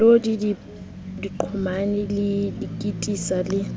melodi diqhomane di kititsa le